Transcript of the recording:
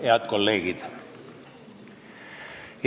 Head kolleegid!